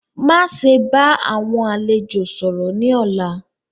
Maṣe bá awọn àlẹ̀jọ̀ sọ̀rọ̀ ni lónà!